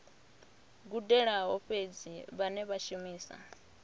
gudelaho fhedzi vhane vha shumisa